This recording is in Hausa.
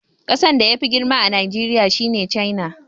Kasan da yafi girma a duniya shine China.